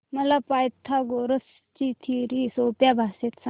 मला पायथागोरस ची थिअरी सोप्या भाषेत सांग